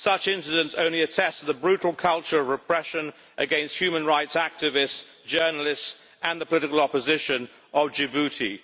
Such incidents only attest to the brutal culture of repression against human rights activists, journalists and the political opposition of Djibouti.